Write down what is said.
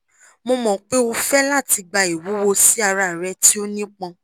mo mọ pe o fẹ lati gba iwuwo si ara rẹ ti o nipọn